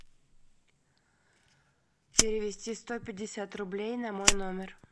перевести сто пятьдесят рублей на мой номер